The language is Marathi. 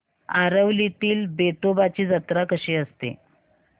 आरवलीतील वेतोबाची जत्रा कशी असते